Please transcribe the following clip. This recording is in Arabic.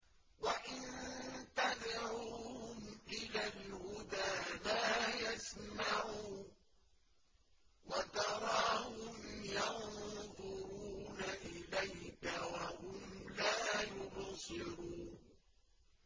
وَإِن تَدْعُوهُمْ إِلَى الْهُدَىٰ لَا يَسْمَعُوا ۖ وَتَرَاهُمْ يَنظُرُونَ إِلَيْكَ وَهُمْ لَا يُبْصِرُونَ